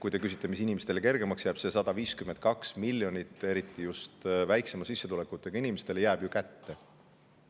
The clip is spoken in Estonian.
Kui te küsite, mis siis inimestele kergemaks läheb, siis ütlen, et see 152 miljonit jääb ju inimestele kätte eriti väiksema sissetulekutega inimesi.